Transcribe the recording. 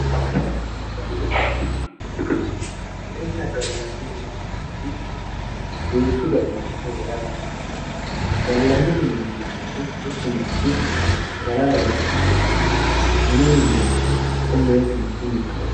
minenna gallanni mine yinanni woyiite duuchu dani mini heeranno gallanni mineeti yinannihu mittu manchi galara yee mi'nanno mine minnannihu haqqunni woy kinchunni.